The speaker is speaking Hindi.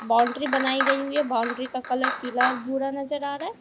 बाउंड्री बनाई गई हुई है बाउंड्री का कलर पीला और भूरा नजर आ रहा है।